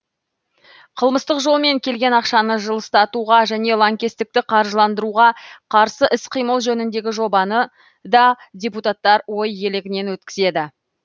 қылмыстық жолмен келген ақшаны жылыстатуға және лаңкестікті қаржыландыруға қарсы іс қимыл жөніндегі жобаны да депутаттар ой елегінен өткізеді